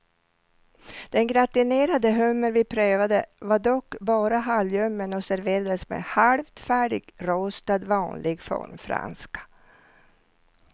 Den gratinerade hummer vi prövade var dock bara halvljummen och serverades med halvt färdigrostad vanlig formfranska.